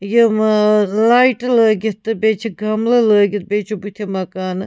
.یِمہٕ آلایٹہٕ لٲگِتھ تہٕ بیٚیہِ چھ گملہٕ لٲگِتھ بیٚیہِ چُھ بُتھہِ مکانہٕ